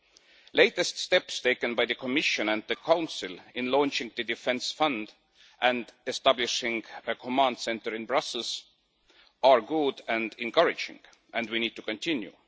The latest steps taken by the Commission and the Council in launching the Defence Fund and establishing a command centre in Brussels are good and encouraging, and we need to continue.